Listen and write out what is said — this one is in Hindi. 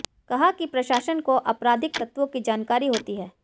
कहा कि प्रशासन को आपराधिक तत्वों की जानकारी होती है